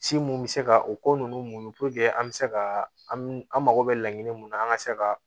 Si mun bɛ se ka o ko ninnu muɲu an bɛ se ka an mago bɛ laɲini mun na an ka se ka